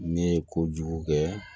Ne ye kojugu kɛ